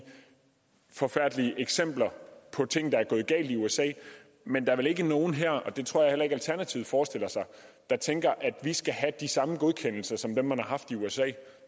forfærdelige eksempler på ting der er gået galt i usa men der er vel ikke nogen her og det tror jeg heller ikke alternativet forestiller sig der tænker at vi skal have de samme godkendelser som dem man har haft i usa